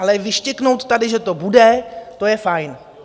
Ale vyštěknout tady, že to bude, to je fajn.